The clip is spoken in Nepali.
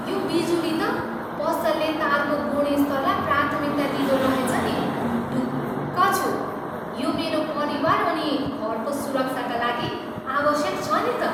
यो बिजुली त पसलले तारको गुणस्तरलाई प्राथमिकता दिँदो रहेछ नि। ढुक्क छु। यो मेरो परिवार अनि घरको सुरक्षाका लागि आवश्यक छ नि त।